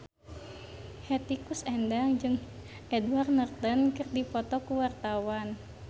Hetty Koes Endang jeung Edward Norton keur dipoto ku wartawan